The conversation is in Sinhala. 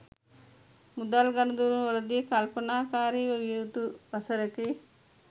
මුදල් ගනුදෙනුවලදී කල්පනාකාරි විය යුතු වසරකි.